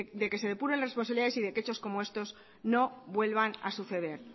de que se depuren las responsabilidades y de que hechos como estos no vuelvan a suceder